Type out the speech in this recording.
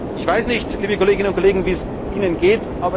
hat. Ich weiß nicht, liebe Kolleginnen und Kollegen, wie es Ihnen